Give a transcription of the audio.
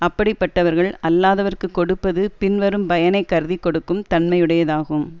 அப்படிப்பட்டவர்கள் அல்லாதவர்க்குக் கொடுப்பது பின்வரும் பயனை கருதி கொடுக்கும் தன்மையுடையதாகும்